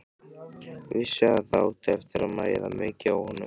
Vissi að það átti eftir að mæða mikið á honum.